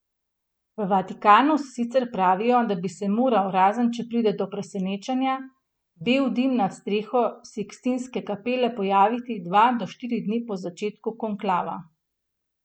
V Vatikanu sicer pravijo, da bi se moral, razen če pride do presenečenja, bel dim nad streho Sikstinske kapele pojaviti dva do štiri dni po začetku konklava.